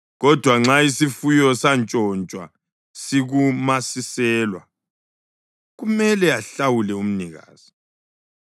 Kodwa nxa isifuyo santshontshwa sikumasiselwa kumele ahlawule umnikazi.